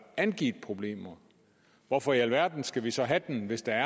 angivet problemer hvorfor i alverden skal vi så have den hvis der